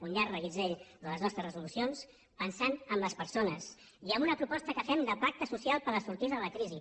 un llarg reguitzell de les nostres resolucions pensant en les persones i amb una proposta que fem de pacte social per la sortida de la crisi